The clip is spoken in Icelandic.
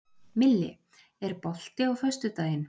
Milli, er bolti á föstudaginn?